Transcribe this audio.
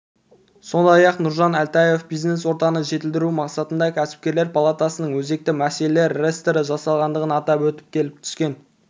сондай-ақ нұржан әлтаев бизнес-ортаны жетілдіру мақсатында кәсіпкерлер палатасының өзекті мәселелер реестрі жасалғандығын атап өтті келіп түскен